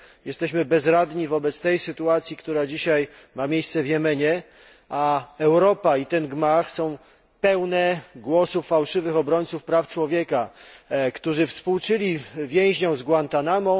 Jesteśmy bezradni wobec sytuacji, która dzisiaj ma miejsce w Jemenie, a Europa i ten gmach są pełne głosów fałszywych obrońców praw człowieka, który współczuli więźniom z Guantanamo.